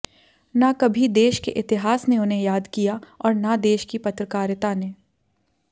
न कभी देश के इतिहास ने उन्हें याद किया और न देश की पत्रकारिता ने